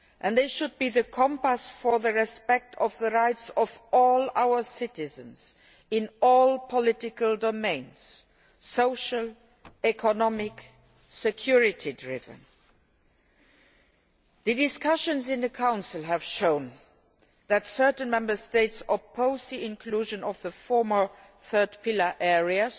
They should be the compass for respecting the rights of all our citizens in all policy domains social, economic and security. The discussions in the Council have shown that certain Member States oppose the inclusion of the former third pillar areas,